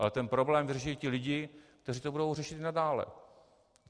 Ale ten problém vyřeší ti lidé, kteří to budou řešit i nadále.